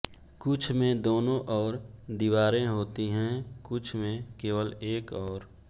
कुछ में दोनों और दीवारें होती हैं कुछ में केवल एक और